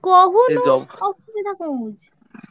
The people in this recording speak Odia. କହୁନୁ ଅସୁବିଧା କଣ ହଉଛି।